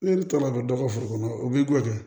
E bɛ to ka don dɔ ka foro kɔnɔ o b'i goya dɛ